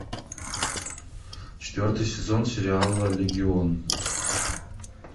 четвертый сезон сериала легион